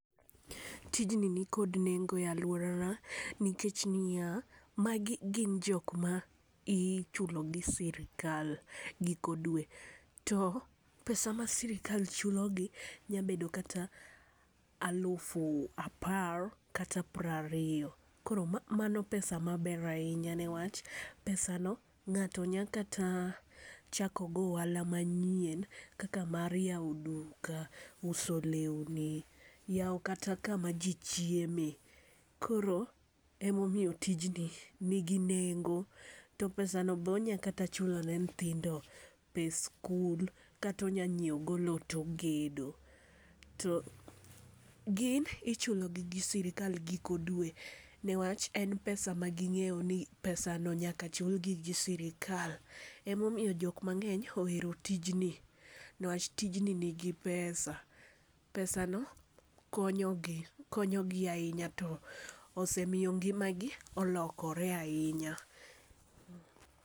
Tijni ni kod nengo e aluora nikech ni ya, ma gi gin jok ma ichulo gi sirkal giko dwe to pesa ma sirkal chulo gi nya bedo kata alufu apar kata piero. Koro mano pesa ma ber ainya nikech pesa no ng'ato nya kata chako godo ohala ma nyien kaka mar yawo duka, uso lewni, yawo kata ka ma ji chiem. Koro ema omiyo tjni ni gi nengo to pesa no be onya kata chulo ne nyithindo pes skul kata onya nyiewo go loo to ogedo. To gin ichulo gi gi sirkal giko dwe ne wach en pesa ma gi ng'eyo ni pesa no nyaka chul gi gi sirkal ema omiyo ji mangeny ohero tijni ne wach tijni ni gi pesa, pesa no konyo gi konyo gi ainya to osemiyo ngima gi olokore ainya.